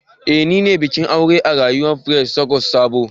Eh nine bikin aure a rayuwa Faith Church Sabo